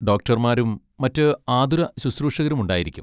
ഡോക്ടർമാരും മറ്റ് ആതുരശുശ്രൂഷകരും ഉണ്ടായിരിക്കും.